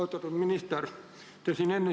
Austatud minister!